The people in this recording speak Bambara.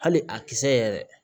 Hali a kisɛ yɛrɛ